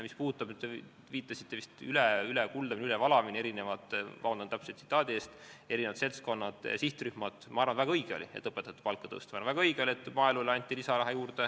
Mis puudutab seda, et te viitasite eri sihtrühmade ülekuldamisele või ülevalamisele – vabandust, ei mäleta täpselt –, siis ma arvan, et väga õige oli õpetajate palka tõsta, väga õige oli maaelule anda lisaraha.